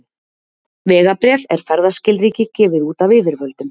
Vegabréf er ferðaskilríki gefið út af yfirvöldum.